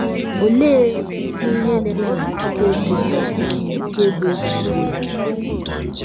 Olee isi ihe na -- eme ka a chọta obi ụtọ nke bụ́ ezigbo ya?